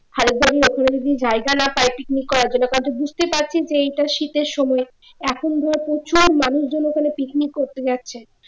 যদি জায়গা না পায় picnic করার জন্য কারণ তুই বুঝতে পারছিস এটা শীতের সময় এখন তোর প্রচুর মানুষ জন ওখানে picnic করতে যাচ্ছে